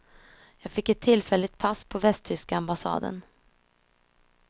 Jag fick ett tillfälligt pass på västtyska ambassaden.